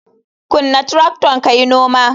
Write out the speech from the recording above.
Kunna tracton kayi noma.